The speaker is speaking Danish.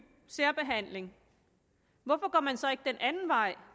særbehandling hvorfor går man så ikke den anden vej